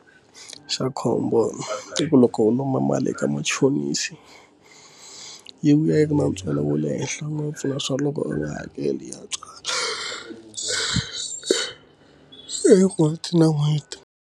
Xa khombo i ku loko u lomba mali eka machonisi yi vuya yi ri na ntswalo wa le henhla ngopfu na swa loko u nga hakeli ya tswala en'hweti na n'hweti.